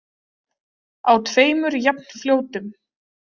Á tveimur jafnfljótum.